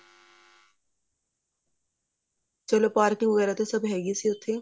ਚਲੋ ਪਾਰਕਿੰਗ ਵਗੇਰਾ ਤਾਂ ਸਭ ਹੋਗਾ ਸੀ ਉੱਥੇ